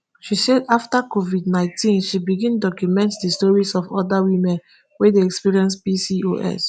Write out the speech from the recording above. she say afta covidnineteen she begin document di stories of oda women wey dey experience pcos